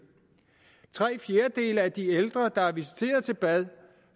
tre fjerdedele af de ældre der er visiteret til bad